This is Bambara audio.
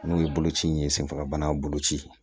N'o ye boloci in ye senfagabana boloci